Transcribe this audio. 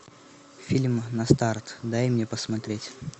фильм на старт дай мне посмотреть